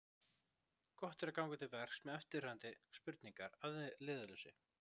Gott er ganga til verks með eftirfarandi spurningar að leiðarljósi: